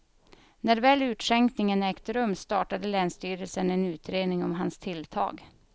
När väl utskänkningen ägt rum startade länsstyrelsen en utredning om hans tilltag.